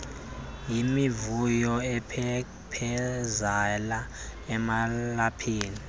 yimivuyo aphephezela amalaphu